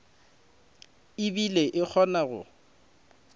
e bile e kgona go